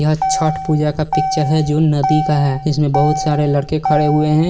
यह छठ पूजा का पिक्चर है जो नदी का है जिसमें बहुत सारे लड़के खड़े हुए है।